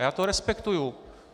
A já to respektuji.